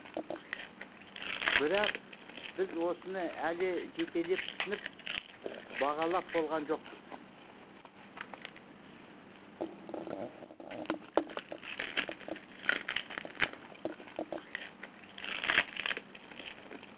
бірақ біз осыны әлі жетелеп түсініп бағалап болған жоқпыз